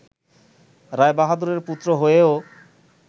রায়বাহাদুরের পুত্র হয়েও